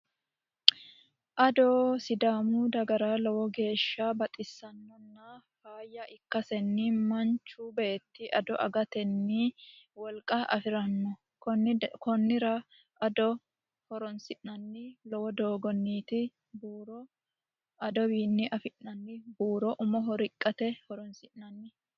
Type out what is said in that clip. Ado sidaamu dagara lowo geeshsha baxisannona faayya ikkasenni Manchu beeti ado agatenni wolqa afiranno konnira ado horonsi'nanni lowo doogoniti buuro adotewii afi'nanni buuro umoho riqqate horonsi'nanni.